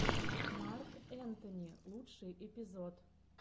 марк энтони лучший эпизод